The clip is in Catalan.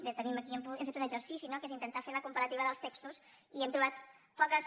bé tenim aquí hem fet un exercici no que és intentar fer la comparativa dels textos i hem trobat poques